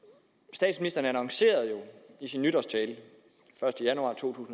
statsministeren annoncerede i sin nytårstale den første januar to